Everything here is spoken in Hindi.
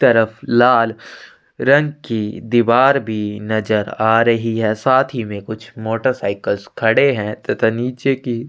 तरफ लाल रंग की दीवार भी नज़र आ रही है साथ ही में कुछ मोटरसाइकिल्स खड़े हैं तथा नीचे की--